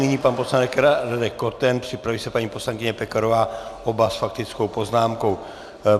Nyní pan poslanec Radek Koten, připraví se paní poslankyně Pekarová, oba s faktickou poznámkou.